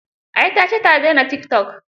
Ai ta ce ta daina tikitok.